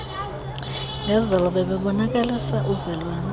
ngezolo bebebonakalisa uvelwane